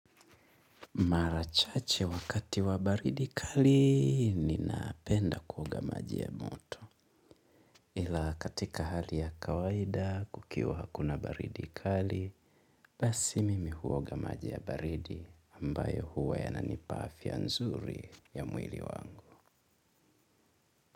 Mara chache wakati wa baridi kali ninapenda kuoga maji ya moto. Ila katika hali ya kawaida kukiwa hakuna baridi kali, basi mimi huoga maji ya baridi ambayo huwa yananipa afya nzuri ya mwili wangu.